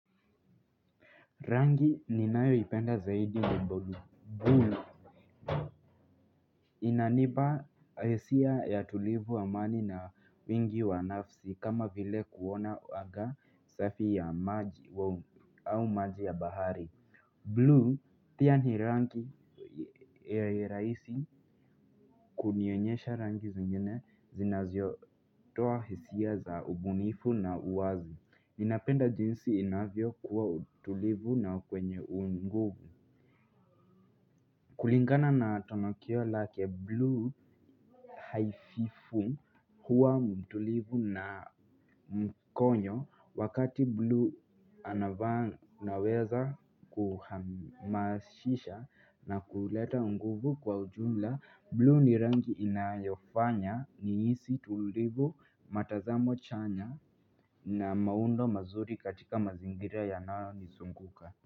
Rangi ni nayoipenda zaidi ni bulu. Blue inaniba isia ya tulivu amani na wingi wa nafsi kama vile kuona waga safi ya maji au maji ya bahari. Blue pia ni rangi ya raisi kunionyesha rangi zingine zinazio toa hisia za ubunifu na uwazi. Ninapenda jinsi inavyo kuwa tulivu na kwenye unguvu. Kulingana na tonakio lake blue haififu huwa mtulivu na mkonyo. Wakati blue anavaa naweza kuhamashisha na kuleta nguvu kwa ujumla Blue ni rangi inayofanya niisi tulivu matazamo chanya na maundo mazuri katika mazingira ya nayo nisunguka.